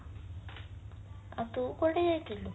ଆଉ ତୁ କୁଆଡେ ଯାଇଥିଲୁ